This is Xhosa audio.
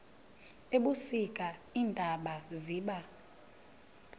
ebusika iintaba ziba